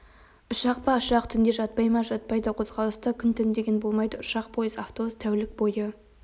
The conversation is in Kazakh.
ұшақ па ұшақ түнде жатпай ма жатпайды қозғалыста күн-түн деген болмайды ұшақ пойыз автобус тәулік бойы